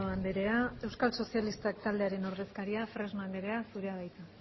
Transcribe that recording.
andrea euskal sozialistak taldearen ordezkaria fresno anderea zurea da hitza